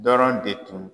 Dɔrɔn de tun